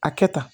A kɛ tan